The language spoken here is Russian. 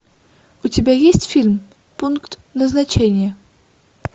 у тебя есть фильм пункт назначения